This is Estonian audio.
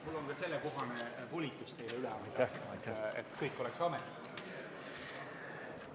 Mul on ka sellekohane volitus teile üle anda, et kõik oleks ametlik.